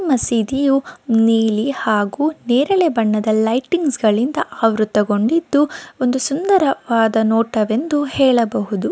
ಮಸೀದಿಯು ನೀಲಿ ಹಾಗೂ ನೆರಳೆ ಬಣ್ಣದ ಲೈಟಿಂಗ್ಸಗಳಿಂದ ಆವೃತಗೊಂಡಿದ್ದು ಒಂದು ಸುಂದರವಾದ ನೋಟ ವೆಂದು ಹೇಳಬಹುದು.